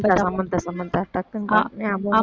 Samantha Samantha Samantha